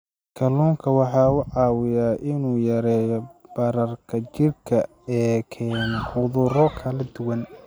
Kalluunku waxa uu caawiyaa in uu yareeyo bararka jidhka ee keena cudurro kala duwan.